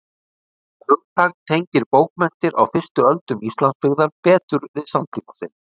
Það hugtak tengir bókmenntir á fyrstu öldum Íslandsbyggðar betur við samtíma sinn.